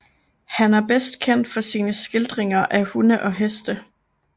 Han er bedst kendt for sine skildringer af hunde og heste